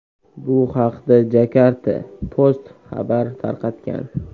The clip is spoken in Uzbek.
Bu haqda Jakarta Post xabar tarqatgan .